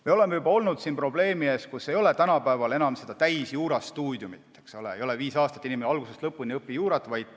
Me oleme juba olnud probleemi ees, et tänapäeval ei ole enam täielikku juurastuudiumit, ei ole enam nii, et inimene viis aastat algusest lõpuni õpib juurat.